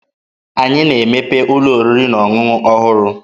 Anyị na-emepe ụlọ oriri na ọṅụṅụ ọhụrụ.